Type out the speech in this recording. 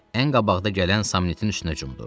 Ən qabaqda gələn Samnitin üstünə cumdu.